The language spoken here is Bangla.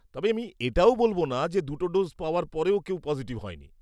তবে আমি এটাও বলব না যে দুটো ডোজ পাওয়ার পরেও কেউই পসিটিভ হয়নি।